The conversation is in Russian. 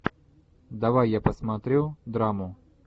давай я посмотрю драму